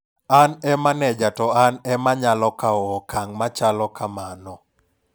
An e maneja to an ema nyalo kaw okang' machalo kamano.